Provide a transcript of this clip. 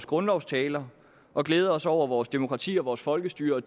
grundlovstale og glæde os over vores demokrati og vores folkestyre og